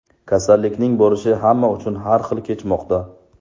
Kasallikning borishi hamma uchun har xil kechmoqda.